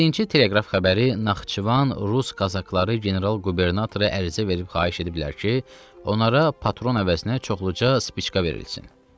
Yeddinci teleqraf xəbəri Naxçıvan Rus Kazakları general-qubernatoru ərizə verib xahiş ediblər ki, onlara patron əvəzinə çoxluca spiçka verilsin.